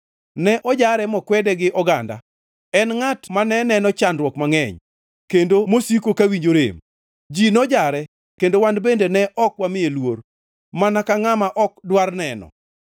Ne ojare mokwede gi oganda, en ngʼat mane neno chandruok mangʼeny, kendo mosiko kawinjo rem. Ji nojare kendo wan bende ne ok wamiye luor, mana ka ngʼama ok dwar neno.